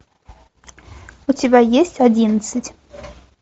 у тебя есть одиннадцать